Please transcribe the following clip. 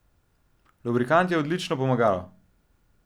Lubrikant je odlično pomagalo.